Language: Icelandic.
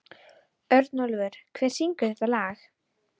Örnólfur, hver syngur þetta lag?